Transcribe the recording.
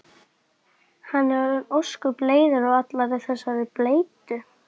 Hann er orðinn ósköp leiður á allri þessari bleytu.